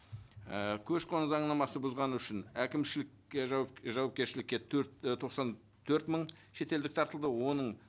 і көші қон заңнамасын бұзған үшін әкімшілік жауапкершілікке төрт і тоқсан төрт мың шетелдік тартылды оның